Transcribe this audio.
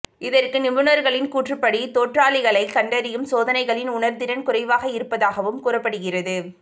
இதற்கு நிபுணர்களின் கூற்றுப்படி தொற்றாளிகளை கண்டறியும் சோதனைகளின் உணர்திறன் குறைவாக இருப்பதாகவும் கூறப்படுகிறது